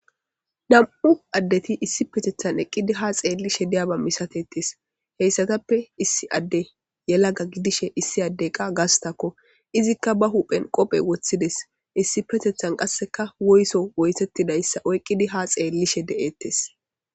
Nam'u adeti issippeteta eqqidi ha xelishe de'iyaba misatetes heysatappe issi Adey yelaga gidishe issi Adeyka gastako izzika ba huphen qope wothides issippetethan qaseka woyso woysetidaysa oykidi ha xeletes